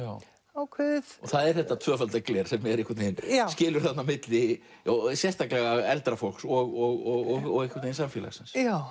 ákveðið það er þetta tvöfalda gler sem einhvern veginn skilur á milli sérstaklega eldra fólks og einhvern veginn samfélagsins já